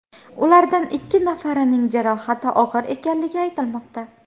Ulardan ikki nafarining jarohati og‘ir ekanligi aytilmoqda.